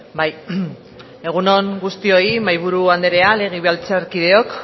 bai egun on guztioi egun on mahaiburu andrea legebiltzarkideok